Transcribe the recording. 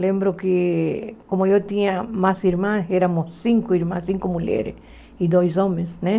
Lembro que, como eu tinha mais irmãs, éramos cinco irmãs, cinco mulheres e dois homens, né?